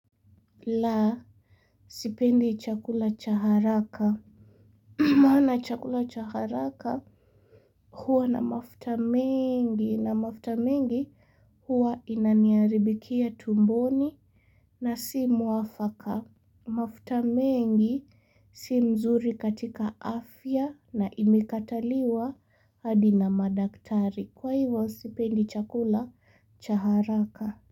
La sipendi chakula cha haraka. Maana chakula cha haraka huwa na mafuta mengi na mafuta mengi huwa inaniharibikia tumboni. Na si mwafaka. Mafuta mengi si nzuri katika afya na imekataliwa hadi na madaktari kwa hivyo sipendi chakula cha haraka.